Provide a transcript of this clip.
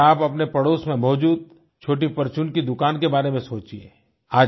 ज़रा आप अपने पडोस में मौजूद छोटी परचून की दूकान के बारे में सोचिये